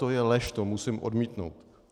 To je lež, to musím odmítnout.